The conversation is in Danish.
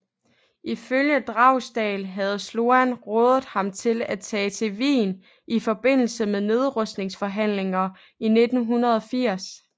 Ifølge Dragsdahl havde Sloan rådet ham til at tage til Wien i forbindelse med nedrustningsforhandlinger i 1980